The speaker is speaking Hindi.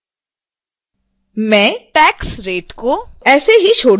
मैं tax rate को ऐसे ही छोड दूँगी